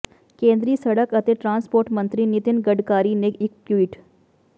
ਕੇਂਦਰੀ ਸੜਕ ਅਤੇ ਟਰਾਂਸਪੋਰਟ ਮੰਤਰੀ ਨਿਤਿਨ ਗਡਕਰੀ ਨੇ ਇਕ ਟਵੀਟ